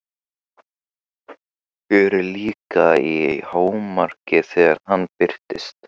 Fjörið líka í hámarki þegar hann birtist.